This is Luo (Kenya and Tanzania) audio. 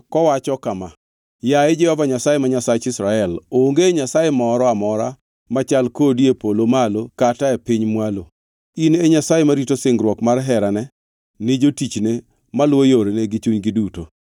kowacho kama: “Yaye Jehova Nyasaye, ma Nyasach Israel, onge Nyasaye moro amora machal kodi e polo malo kata e piny mwalo, in e Nyasaye marito singruok mar herane ni jotichne maluwo yoreni gi chunygi duto.